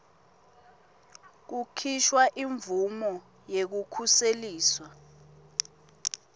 kukhishwa imvumo yekukhuseliswa